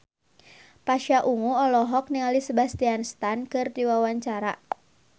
Pasha Ungu olohok ningali Sebastian Stan keur diwawancara